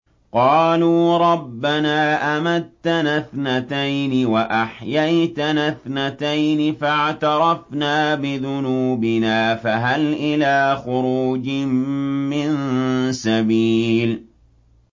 قَالُوا رَبَّنَا أَمَتَّنَا اثْنَتَيْنِ وَأَحْيَيْتَنَا اثْنَتَيْنِ فَاعْتَرَفْنَا بِذُنُوبِنَا فَهَلْ إِلَىٰ خُرُوجٍ مِّن سَبِيلٍ